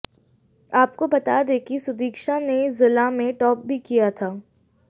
आपको बता दें कि सुदीक्षा ने जिला में टॉप भी किया था